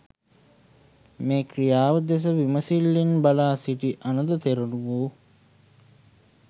මේ ක්‍රියාව දෙස විමසිල්ලෙන් බලා සිටි අනඳ තෙරණුවෝ